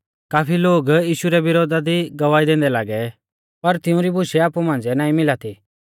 काफी लोग यीशु रै विरोधा दी गवाही दैंदै लागै पर तिउंरी बुशै आपु मांझ़िऐ नाईं मिला थी